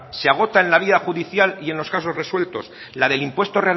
se agotan en la vía judicial y en los casos resueltos la del impuesto